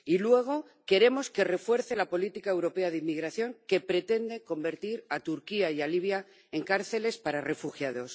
Y, luego, queremos que refuerce la política europea de migración, que pretende convertir a Turquía y a Libia en cárceles para refugiados.